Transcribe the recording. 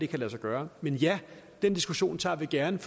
kan lade sig gøre men ja den diskussion tager vi gerne